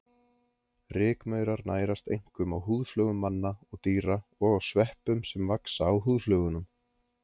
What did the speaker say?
Rykmaurar nærast einkum á húðflögum manna og dýra og á sveppum sem vaxa á húðflögunum.